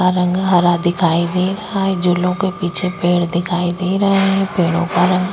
का रंग हरा दिखाई दे रहा है झूलो के पिछे पेड़ दिखाई दे रहे है पेड़ो का रंग --